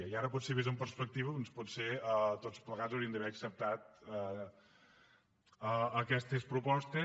i ara potser vist amb perspectiva doncs tots plegats hauríem d’haver acceptat aquestes propostes